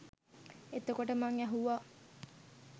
එතකොට මං ඇහුවා